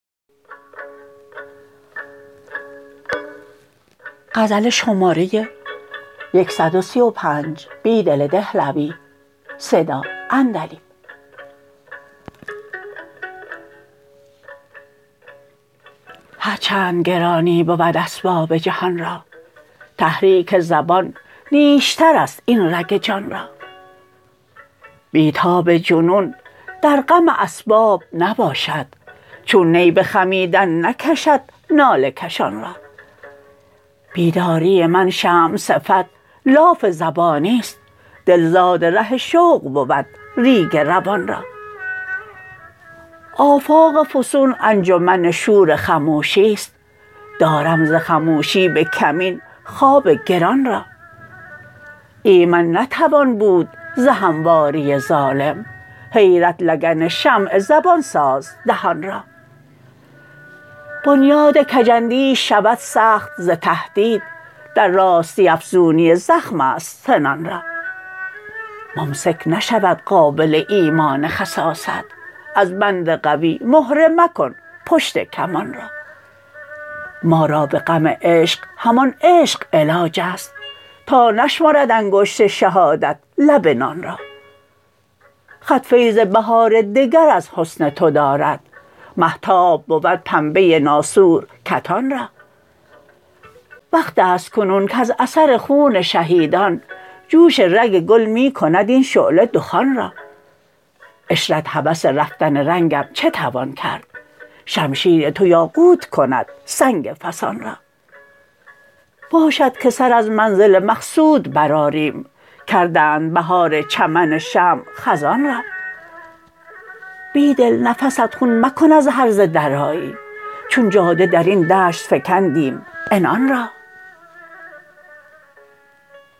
هرچند گرانی بود اسباب جهان را تحریک زبان نیشتر است این رگ جان را بی تاب جنون در غم اسباب نباشد چون نی به خمیدن نکشد ناله کشان را بیداری من شمع صفت لاف زبانی ست دل زادره شوق بود ر یگ روان را آفاق فسون انجمن شور خموشی ست دارم ز خموشی به کمین خواب گران را ایمن نتوان بود ز همواری ظالم حیرت لگن شمع زبان ساز دهان را بنیاد کج اندیش شود سخت ز تهدید در راستی افزونی زخم است سنان را ممسک نشود قابل ایمان خساست از بند قوی مهره مکن پشت کان را ما را به غم عشق همان عشق علاج است تا نشمرد انگشت شهادت لب نان را خط فیض بهار دگر از حسن تو دارد مهتاب بود پنبه ناسور کتان را وقت است کنون کز اثر خون شهیدان جوش رگ گل می کند این شعله دخان را عشرت هوس رفتن رنگم چه توان کرد شمشیر تو یاقوت کند سنگ فسان را باشد که سر از منزل مقصود برآریم کردند بهار چمن شمع خزان را بیدل نفس ات خون مکن از هرزه درایی چون جاده درین دشت فکندیم عنان را